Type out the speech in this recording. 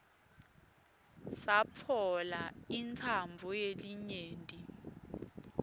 satfola intsandvo yelinyenti